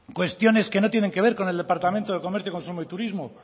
cuestiones que no tienen que ver con el departamento de comercio consumo y turismo